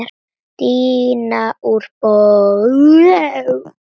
Díana úr bók.